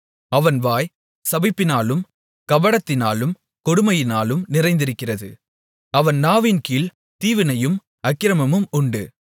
அவன் வாய் சபிப்பினாலும் கபடத்தினாலும் கொடுமையினாலும் நிறைந்திருக்கிறது அவன் நாவின்கீழ் தீவினையும் அக்கிரமமும் உண்டு